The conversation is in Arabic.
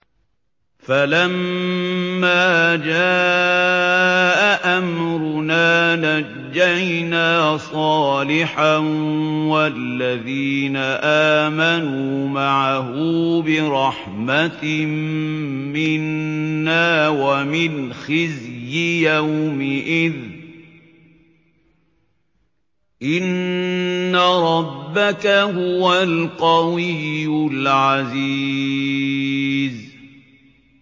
فَلَمَّا جَاءَ أَمْرُنَا نَجَّيْنَا صَالِحًا وَالَّذِينَ آمَنُوا مَعَهُ بِرَحْمَةٍ مِّنَّا وَمِنْ خِزْيِ يَوْمِئِذٍ ۗ إِنَّ رَبَّكَ هُوَ الْقَوِيُّ الْعَزِيزُ